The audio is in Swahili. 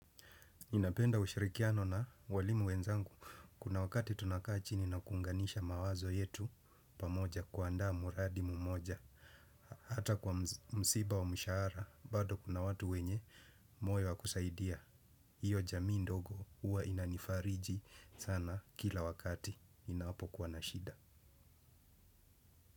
Ninapenda ushirikiano na walimu wenzangu. Kuna wakati tunakaa chini na kuunganisha mawazo yetu pamoja kuandaa mradi mmoja. Hata kwa msiba wa mshahara bado kuna watu wenye moyo wa kusaidia. Iyo jamii ndogo huwa inanifariji sana kila wakati inapo kuwa nashida.